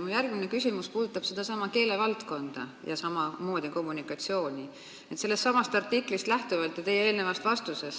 Minu järgmine küsimus puudutab sellestsamast artiklist ja teie artiklist lähtuvalt sedasama keelevaldkonda ja samamoodi